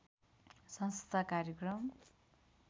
संस्था कार्यक्रम